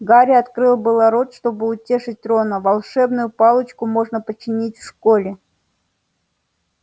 гарри открыл было рот чтобы утешить рона волшебную палочку можно починить в школе